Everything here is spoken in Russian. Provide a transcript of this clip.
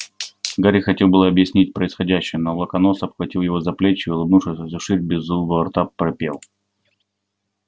гарри хотел было объяснить происходящее но локонс обхватил его за плечи и улыбнувшись во всю ширь белозубого рта пропел